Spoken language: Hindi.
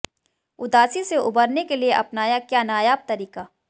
उदासी से उबरने के लिए अपनाया क्या नायाब तरीक़ा